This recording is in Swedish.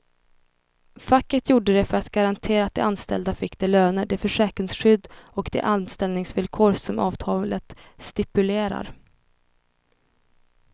Facket gjorde det för att garantera att de anställda fick de löner, det försäkringsskydd och de anställningsvillkor som avtalet stipulerar.